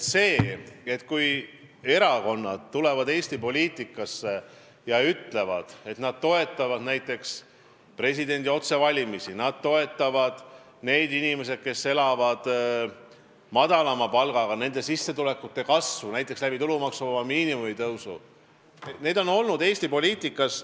See on juba aastaid Eesti poliitikas nii olnud, et erakonnad tulevad Eesti poliitikasse ja ütlevad, et nad toetavad näiteks presidendi otsevalimisi ja madalama palgaga inimeste sissetulekute kasvu tulumaksuvaba miinimumi tõusu kaudu.